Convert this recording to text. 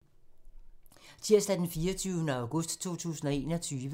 Tirsdag d. 24. august 2021